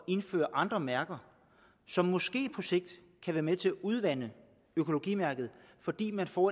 indføre andre mærker som måske på sigt kan være med til at udvande økologimærket fordi man får